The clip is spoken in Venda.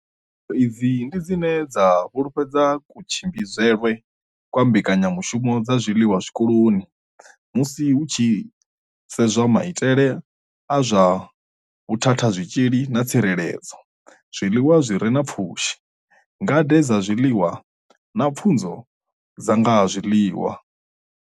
Pfufho idzi ndi dzine dza fhululedza kutshimbidzelwe kwa mbekanyamushumo dza zwiḽiwa zwikoloni musi hu tshi sedzwa maitele a zwa vhuthathazwitzhili na tsireledzo, zwiḽiwa zwi re na pfushi, ngade dza zwiḽiwa na pfunzo dza nga ha zwiḽiwa.